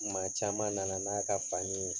Maa caman nana n'a ka fani ye